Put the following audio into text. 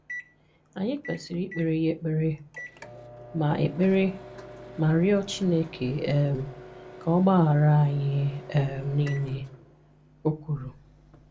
Anyị kwesiri ikpere ya ekpere, ma ekpere, ma rịọ Chineke um ka ọ gbaghara anyị um niile, o kwuru.